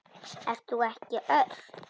Ert þú ekki Örn?